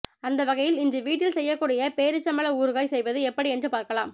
அந்தவகையில் இன்று வீட்டில் செய்யக்கூடிய பேரீச்சம்பழ ஊறுகாய் செய்வது எப்படி என்று பார்க்கலாம்